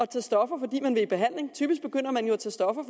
tage stoffer fordi man vil i behandling typisk begynder man jo at tage stoffer